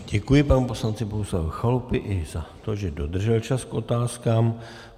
Děkuji panu poslanci Bohuslavu Chalupovi i za to, že dodržel čas k otázkám.